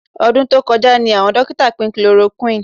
Ọdún tó kọjá ni àwọn dókítà pín chloroquine